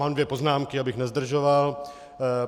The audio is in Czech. Mám dvě poznámky, abych nezdržoval.